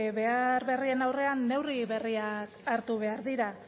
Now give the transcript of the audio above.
behar berrien aurrean neurri berriak hartu behar dira